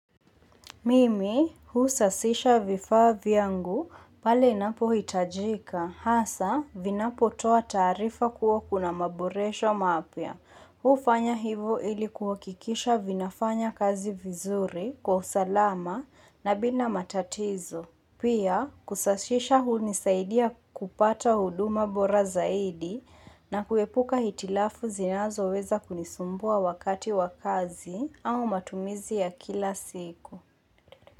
Mimi husasisha vifaa vyangu pale inapo hitajika hasa vinapo toa taarifa kuwa kuna maboresho mapya. Hufanya hivo ili kuwa hikikisha vinafanya kazi vizuri kwa usalama na bina matatizo. Pia kusashisha hunisaidia kupata huduma bora zaidi na kuepuka hitilafu zinazo weza kunisumbua wakati wa kazi au matumizi ya kila siku.